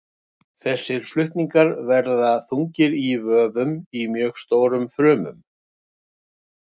Þessir flutningar verða þungir í vöfum í mjög stórum frumum.